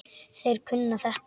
Þeir kunna þetta.